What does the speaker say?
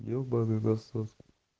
ёбаный насос